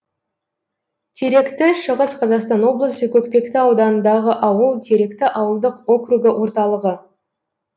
теректі шығыс қазақстан облысы көкпекті ауданындағы ауыл теректі ауылдық округі орталығы